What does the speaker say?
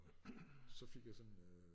Så fik jeg sådan øh